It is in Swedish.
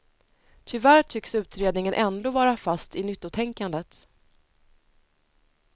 Tyvärr tycks utredningen ändå vara fast i nyttotänkandet.